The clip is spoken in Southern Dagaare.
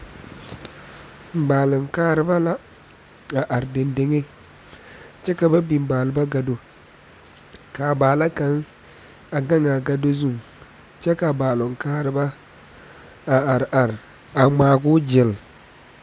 baale kareba la a are dendeŋe kyɛ ka ba biŋ baalba kaa Baala. kaŋ a gaŋ a gado zu kyɛ ka a baale kareba a are are a ŋmaaro gyile